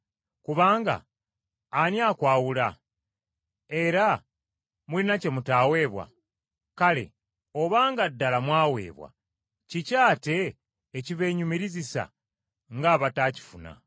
Kubanga ani akwawula? Era mulina kye mutaaweebwa? Kale obanga ddala mwaweebwa, kiki ate ekibenyumirizisa ng’abataakifuna?